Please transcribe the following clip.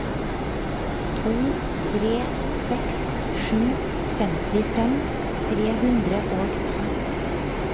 to tre seks sju femtifem tre hundre og ti